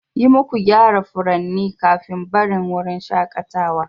Yi muku gyara furanni kafin barin wurin shakatawa